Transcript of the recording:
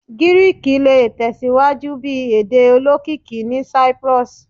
Giriki le tẹsiwaju bi ede olokiki ni Cyprus